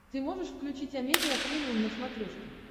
ты можешь включить амедиа премиум на смотрешке